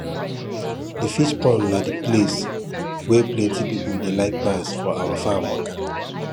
the fish pond na the place wey plenty people dey like pass for our farm waka